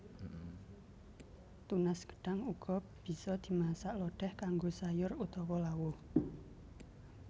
Tunas gedhang uga bisa dimasak lodèh kanggo sayur utawa lawuh